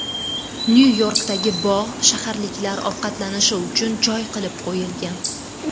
Nyu-Yorkdagi bog‘, shaharliklar ovqatlanishi uchun joy qilib qo‘yilgan.